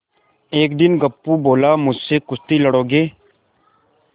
एक दिन गप्पू बोला मुझसे कुश्ती लड़ोगे